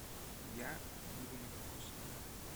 я буду на кокосовом